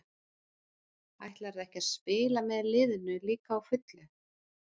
Ætlarðu ekki að spila með liðinu líka á fullu?